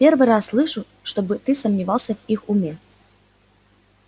первый раз слышу чтобы ты сомневался в их уме